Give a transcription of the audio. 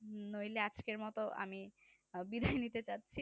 হুম নইলে আজকের মত আমি বিদায় নিতে চাচ্ছি